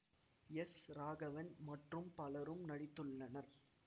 S Raghavan மற்றும் பலரும் நடித்துள்ளனர்